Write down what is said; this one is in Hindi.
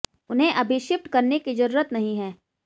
उन्हें अभी शिफ्ट करने की जरूरत नहीं है